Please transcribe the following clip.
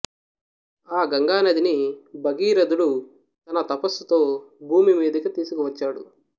ఆ గంగానదిని భగీరధుడు తన తపస్సుతో భూమి మీదకు తీసుకు వచ్చాడు